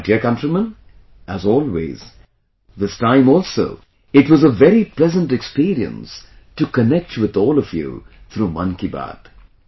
My dear countrymen, as always, this time also it was a very pleasant experience to connect with all of you through 'Mann Ki Baat'